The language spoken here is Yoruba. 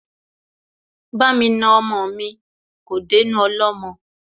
Bá mi na ọmọ mi, kò dénú ọlọ́mọ